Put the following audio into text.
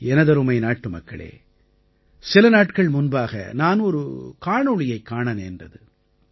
எனதருமை நாட்டுமக்களே சில நாட்கள் முன்பாக நான் ஒரு காணொளியைக் காண நேர்ந்தது